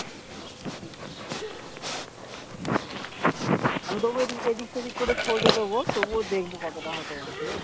আমি তোমাকে এদিক সেদিক করে দেব, তবুও দেখবো কতটা হতে পারে, ঠিকাছে?